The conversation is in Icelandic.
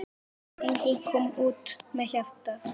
Enginn kom út með hjarta.